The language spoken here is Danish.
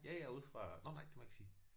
Ja jeg er ude fra nåh nej det må jeg ikke sige